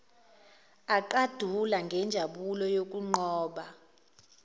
aqandule ngenjabulo yokunqoba